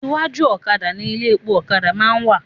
Iwájú òkadà ni ilé epo òkadà má a ń wà